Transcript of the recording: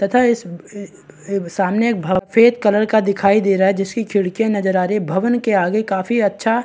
तथा इस सामने में एक भव सफ़ेद कलर का दिखाई दे रहा है जिसकी खिड़कियाँ नजर आ रही हैं भवन के आगे काफी अच्छा --